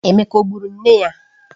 Emeka o gburu nne ya?